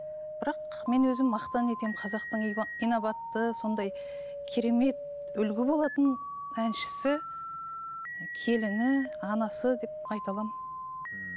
бірақ мен өзім мақтан етемін қазақтың инабатты сондай керемет үлгі болатын әншісі келіні анасы деп айта аламын ммм